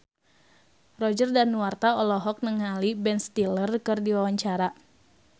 Roger Danuarta olohok ningali Ben Stiller keur diwawancara